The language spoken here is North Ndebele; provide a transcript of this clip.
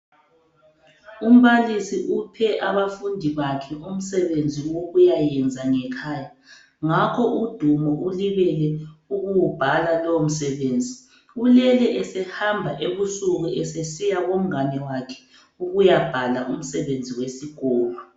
Umbalisi uphe abafundi bakhe umsebenzi wokuyayenza ngekhaya. Ngakho uDumo ulibele ukuwubhala lowomsebenzi. Ulele esehamba ebusuku esesiya komngane wakhe ukuyabhala umsebenzi wesikolo.